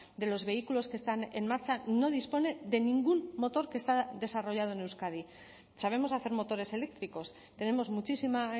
de los vehículos que están en marcha no dispone de ningún motor que está desarrollado en euskadi sabemos hacer motores eléctricos tenemos muchísima